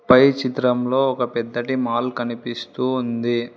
పై చిత్రంలో ఒక పెద్దది మాల్ కనిపిస్తూ ఉంది.